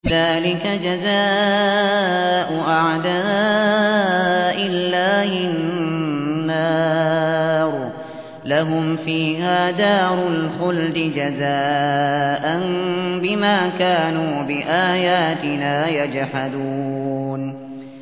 ذَٰلِكَ جَزَاءُ أَعْدَاءِ اللَّهِ النَّارُ ۖ لَهُمْ فِيهَا دَارُ الْخُلْدِ ۖ جَزَاءً بِمَا كَانُوا بِآيَاتِنَا يَجْحَدُونَ